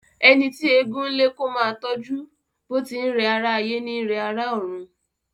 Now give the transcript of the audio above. Ẹni tí eégún ń lé kó máa tọjú, bó ti n rẹ ará ayé ní rẹ ará òrun.